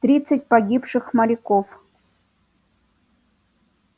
тридцать погибших моряков